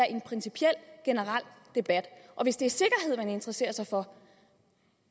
en principiel generel debat hvis det er sikkerhed man interesserer sig for